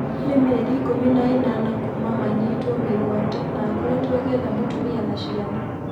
Nĩ-mĩeri ikũmi na-ĩna kuuma manyitwo mĩguate na akoretwo agĩetha mũtumia na ciana.